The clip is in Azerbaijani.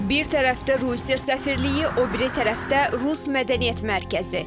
Bir tərəfdə Rusiya səfirliyi, o biri tərəfdə rus mədəniyyət mərkəzi.